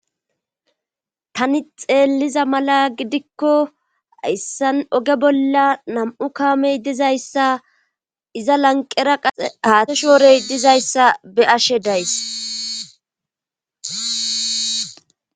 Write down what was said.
Tani xeelliza mala gidikko hayssan oge bolla nam7u kaamey dizayssa iza lanqera qase haate shoorey dizayssa be ashe days.